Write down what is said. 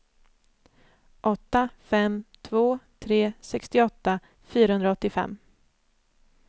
åtta fem två tre sextioåtta fyrahundraåttiofem